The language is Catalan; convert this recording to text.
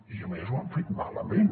i a més ho han fet malament